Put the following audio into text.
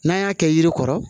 N'an y'a kɛ yiri kɔrɔ